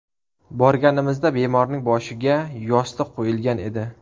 Borganimizda bemorning boshiga yostiq qo‘yilgan edi.